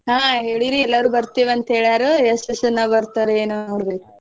ಹಾ ಹೇಳಿವ್ರಿ ಎಲ್ಲಾರು ಬರ್ತಿವಂತ ಹೇಳ್ಯಾರ್ ಎಷ್ಟ್ ಜನ ಬರ್ತಾರೆ ಏನೊ ನೋಡ್ಬೇಕು.